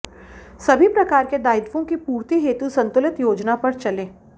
सभी प्रकार के दायित्वों की पूर्ति हेतु सन्तुलित योजना पर चलें